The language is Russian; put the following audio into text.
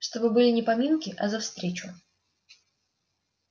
чтобы были не поминки а за встречу